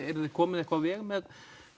eruð þið komin eitthvað á veg með